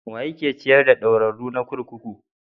Wa yake ciyar da ɗaurarru na kurkuku?